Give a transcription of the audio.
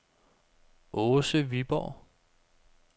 Åse Viborg